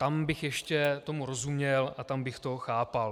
Tam bych ještě tomu rozuměl a tam bych to chápal.